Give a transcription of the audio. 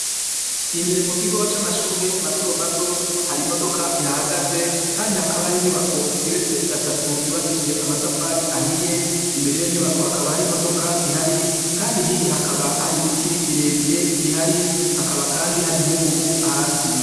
Imbere mu kigo c'amashure mato mato hari imodoka ihahagaze kandi hakaba hari inyubako igeretse gatatu yubakishije amatafari ahiye imbere yiyo nyubako hakaba hari imodoka ihari kandi hirya hakaba hari biti birebire bihari hakaba kandi hari nkungugu hasi.